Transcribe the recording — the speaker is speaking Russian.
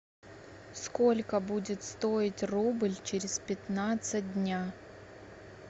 сколько будет стоить рубль через пятнадцать дня